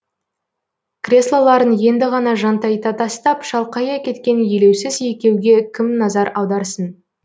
креслоларын енді ғана жантайта тастап шалқая кеткен елеусіз екеуге кім назар аударсын